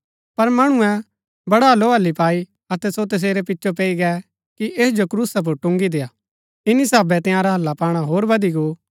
पर मणुऐ बड़ी हलोहली पाई अतै सो तसेरी पिचो पैई गै कि ऐस जो क्रूसा पुर टुन्गी देआ इन्‍नी साभै तंयारा हल्ला पाणा होर बधी गो